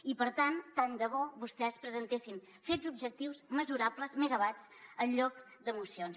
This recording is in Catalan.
i per tant tant de bo vostès presentessin fets objectius mesurables megawatts en lloc de mocions